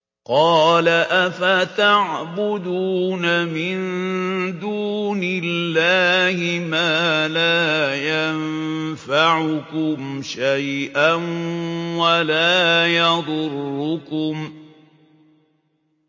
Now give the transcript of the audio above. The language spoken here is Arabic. قَالَ أَفَتَعْبُدُونَ مِن دُونِ اللَّهِ مَا لَا يَنفَعُكُمْ شَيْئًا وَلَا يَضُرُّكُمْ